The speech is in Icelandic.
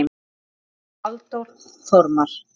eftir Halldór Þormar